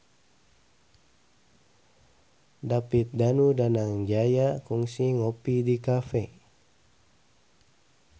David Danu Danangjaya kungsi ngopi di cafe